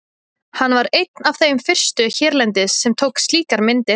Hann var einn af þeim fyrstu hérlendis sem tók slíkar myndir.